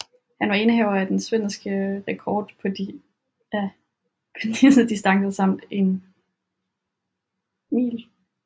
Han var indehaver af den svenske rekord på disse distancer samt 1 mile